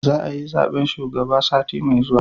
Za a yi zaben shugaba sati mai zuwa